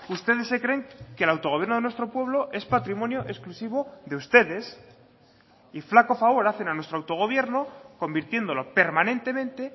ustedes se creen que el autogobierno de nuestro pueblo es patrimonio exclusivo de ustedes y flaco favor hacen a nuestro autogobierno convirtiéndolo permanentemente